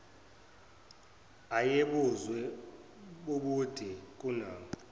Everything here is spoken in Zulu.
ayebuzwe bubude kunabo